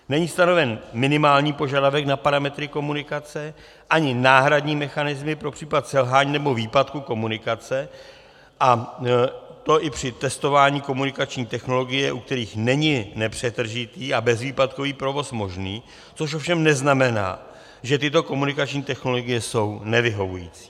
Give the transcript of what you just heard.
Není stanoven minimální požadavek na parametry komunikace ani náhradní mechanismy pro případ selhání nebo výpadku komunikace, a to i při testování komunikační technologie, u kterých není nepřetržitý a bezvýpadkový provoz možný, což ovšem neznamená, že tyto komunikační technologie jsou nevyhovující.